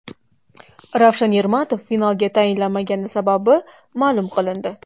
Ravshan Ermatov finalga tayinlanmagani sababi ma’lum qilindi.